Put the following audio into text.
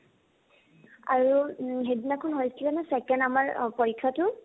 আৰু উম সেইদিনা খন হৈছিলে ন second আমাৰ অ পৰীক্ষাটো